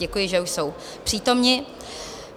Děkuji, že už jsou přítomni.